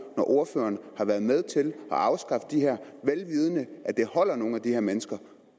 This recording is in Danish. når ordføreren har været med til at afskaffe de her vel vidende at det holder nogle af de her mennesker